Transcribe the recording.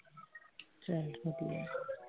ਚੱਲ ਠੀਕ।